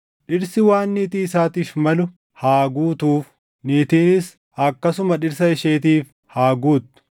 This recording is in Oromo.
Dhirsi waan niitii isaatiif malu haa guutuuf; niitiinis akkasuma dhirsa isheetiif haa guuttu.